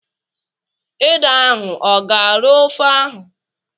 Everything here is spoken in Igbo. Ede ahụ ọ ga-arọ ofe ahụ?